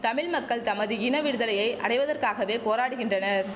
தமிழ் மக்கள் தமது இன விடுதலையை அடைவதற்காகவே போராடுகின்றனர்